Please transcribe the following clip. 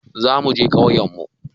Za muje ƙauyen mu